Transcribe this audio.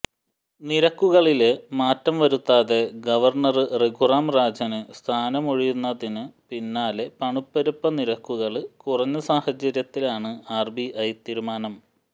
നിരക്കുകളില് മാറ്റം വരുത്താതെ ഗവര്ണര് രഘുറാം രാജന് സ്ഥാനമൊഴിഞ്ഞതിനു പിന്നാലെ പണപ്പെരുപ്പ നിരക്കുകള് കുറഞ്ഞ സാഹചര്യത്തിലാണ് ആര്ബിഐ തീരുമാനം